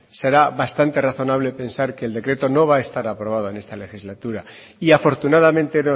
será bastante razonable pensar que el decreto no va a estar aprobado en esta legislatura y afortunadamente